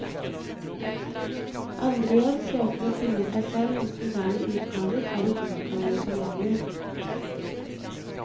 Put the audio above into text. Andre igjen søker å finne seg selv hos moderne utgaver av de urgamle sjamaner.